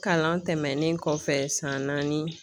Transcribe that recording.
Kalan tɛmɛnen kɔfɛ san naani